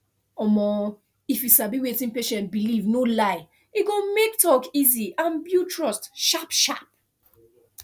um if you sabi wetin patient believe no lie e go make talk easy and build trust sharp sharp